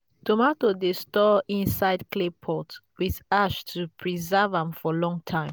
tomato dey store inside clay pot with ash to preserve am for long time.